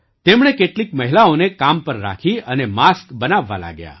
તેમણે કેટલીક મહિલાઓને કામ પર રાખી અને માસ્ક બનાવવા લાગ્યા